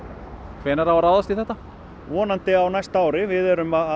hvenær á að ráðast í þetta vonandi á næsta ári við erum að